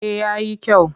Eh ya yi kyau